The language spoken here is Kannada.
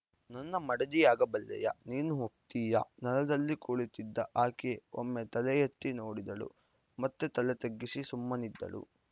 ನನ್ನ ಮಡದಿಯಾಗಬಲ್ಲೆಯಾ ನೀನು ಒಪ್ತೀಯಾ ನೆಲದಲ್ಲಿ ಕುಳಿತಿದ್ದ ಆಕೆ ಒಮ್ಮೆ ತಲೆಯೆತ್ತಿ ನೋಡಿದಳು ಮತ್ತೆ ತಲೆತಗ್ಗಿಸಿ ಸುಮ್ಮನಿದ್ದಳು